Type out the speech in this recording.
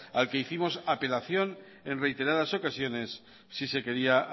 al que hicimos apelación en reiteradas ocasiones si se quería